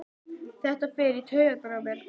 Þetta fer í taugarnar á mér.